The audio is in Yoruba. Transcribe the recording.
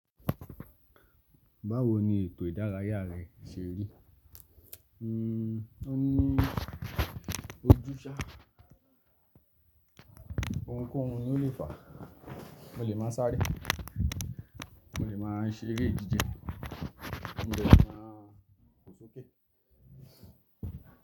Báwo ni ètò ìdárayá rẹ ṣe rí? O ní ojúsà. Ohunkóhun ni o lè fà. O lè máa sáré, o lè máa ṣeré jíjẹ, o lè máa fo sókè.